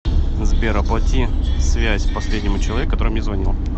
сбер оплати связь последнему человеку который мне звонил